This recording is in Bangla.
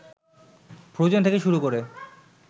ফ্রোজেন থেকে শুরু করে